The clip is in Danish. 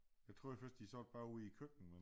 Jeg troede først de sad bare ude i køkkenet